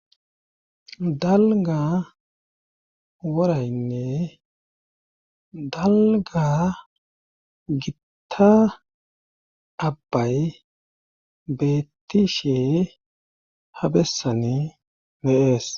dalga woraynne dalga gitta abbay bettishe habessani de,es